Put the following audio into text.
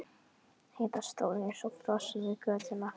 Heiða stóð eins og frosin við götuna.